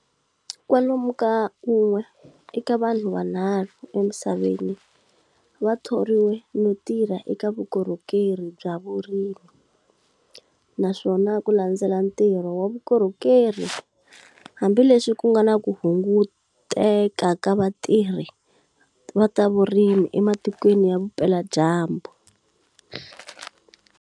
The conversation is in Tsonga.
Kwalomu ka un'we eka vanhu vanharhu emisaveni, vathoriwe no tirha eka vukorhokeri bya vurimi, naswona kulandzela ntirho wa vukorhokeri, hambi leswi kungana ku hunguteka ka vatirhi va tavurimi ematikweni ya vupela dyambu.